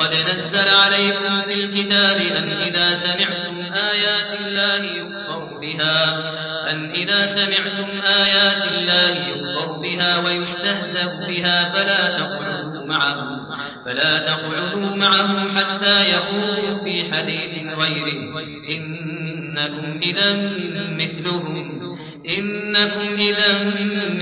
وَقَدْ نَزَّلَ عَلَيْكُمْ فِي الْكِتَابِ أَنْ إِذَا سَمِعْتُمْ آيَاتِ اللَّهِ يُكْفَرُ بِهَا وَيُسْتَهْزَأُ بِهَا فَلَا تَقْعُدُوا مَعَهُمْ حَتَّىٰ يَخُوضُوا فِي حَدِيثٍ غَيْرِهِ ۚ إِنَّكُمْ إِذًا مِّثْلُهُمْ ۗ